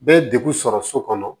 Bɛɛ ye degun sɔrɔ so kɔnɔ